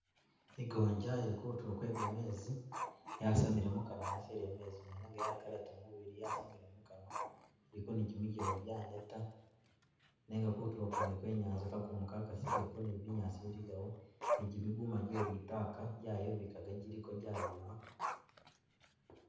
I'goonya ili kutuulo kwe kameezi yasamile mukanwa yasilile mumezi mwene nenga yakalata mubili yasamile makanwa iliko ni jimigele janeta nenga kutuulo kwene kwe inyanza kakumu Ka kasile ko ni binyaasi biligawo ni jimiguma jelitaka jayebikaga jiliko jayima